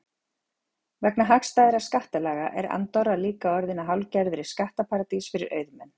Vegna hagstæðra skattalaga er Andorra líka orðin að hálfgerðri skattaparadís fyrir auðmenn.